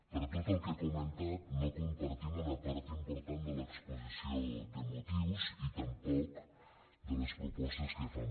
per tot el que he comentat no compartim una part important de l’exposició de motius i tampoc de les propostes que fan